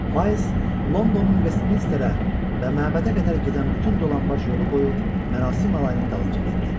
Miles Londonun Vestminsterə və məbədə qədər gedən bütün dolanbac yolu boyu mərasim alayının dalınca getdi.